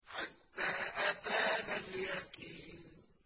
حَتَّىٰ أَتَانَا الْيَقِينُ